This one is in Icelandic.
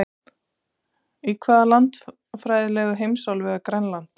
Í hvaða landfræðilegu heimsálfu er Grænland?